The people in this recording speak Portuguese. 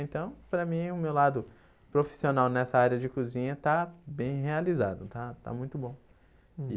Então, para mim, o meu lado profissional nessa área de cozinha está bem realizado, está está muito bom.